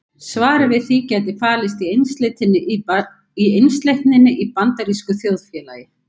Svarið við því gæti falist í einsleitninni í bandarísku þjóðfélagi.